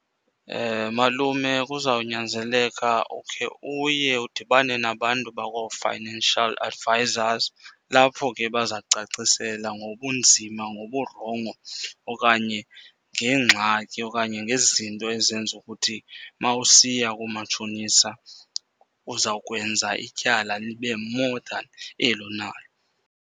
Malume, kuzawunyanzeleka ukhe uye udibane nabantu bakoo-financial advisors kulapho ke baza kucacisela ngobunzima, ngoburongo okanye ngeengxaki okanye ngezinto ezenza ukuthi uma usiya koomatshonisa uzawukwenza ityala libe more than eli unalo.